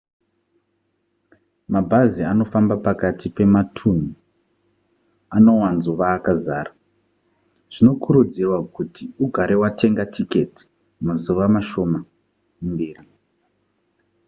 mabhazi anofamba pakati pematunhu anowanzova akazara zvinokurudzirwa kuti ugare watenga tiketi mazuva mashoma mberi